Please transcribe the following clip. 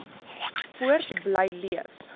voort bly leef